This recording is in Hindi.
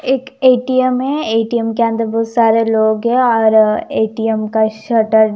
एक ए टी एम है ए टी एम के अंदर बहुत सारे लोग है और ए टी एम का शटर --